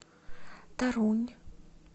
торунь